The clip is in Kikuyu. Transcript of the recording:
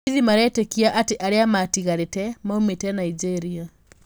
Borithi maretikia ati aria matigarite maumite Nigeria